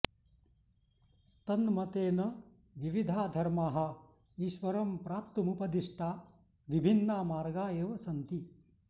तन्मतेन विविधा धर्माः ईश्वरं प्राप्तुमुपदिष्टा विभिन्ना मार्गा एव सन्ति